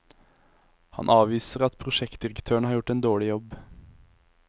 Han avviser at prosjektdirektøren har gjort en dårlig jobb.